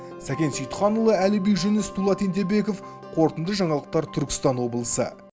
сәкен сейітханұлы әліби жүніс дулат ентебеков қорытынды жаңалықта түркістан облысы